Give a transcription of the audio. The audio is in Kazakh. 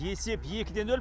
есеп екіде нөл